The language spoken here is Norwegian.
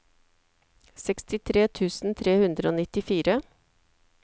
sekstitre tusen tre hundre og nittifire